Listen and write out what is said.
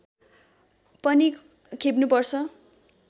पनि खेप्नु पर्छ